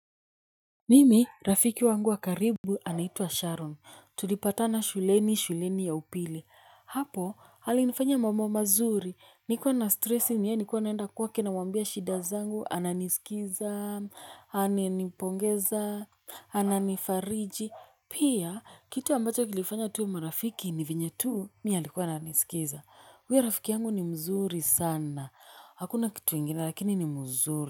Mimi rafiki wangu wa karibu anaitwa Sharon tulipatana shuleni shuleni ya upili hapo alinifanya mambo mazuri nikiwa na stresi ni yeye nilikuwa naenda kwake namwambia shida zangu ananisikiza ananipongeza ananifariji pia kitu ambacho kilifanya tuwe marafiki ni vyenye tu mi alikuwa ananisikiza huyo rafiki yangu ni mzuri sana hakuna kitu ingine lakini ni mzuri.